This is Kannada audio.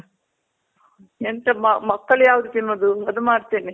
ಎಂತ ಮಕ್ಳು ಯಾವ್ದ್ ತಿನ್ನೋದು ಅದು ಮಾಡ್ತಿನಿ .